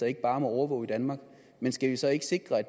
ikke bare må overvåge i danmark men skal vi så ikke sikre